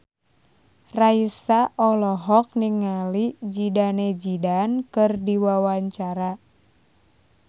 Raisa olohok ningali Zidane Zidane keur diwawancara